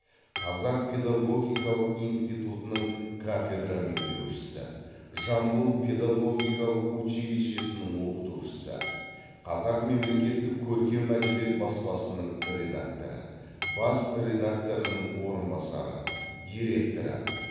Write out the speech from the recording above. қазақ педагогикалық институтының кафедра меңгерушісі жамбыл педагогикалық училищесінің оқытушысы қазақ мемлекеттік көркем әдебиет баспасының редакторы бас редакторының орынбасары директоры